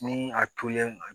Ni a tolen